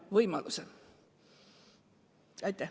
Aitäh!